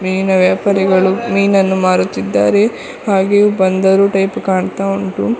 ಮೀನಿನ ವ್ಯಾಪಾರಿಗಳು ಮೀನನ್ನು ಮಾರುತ್ತಿದ್ಧಾರೆ ಹಾಗೆಯೇ ಬಂದರು ಟೈಪ್ ಕಾಣ್ತಾ ಉಂಟು.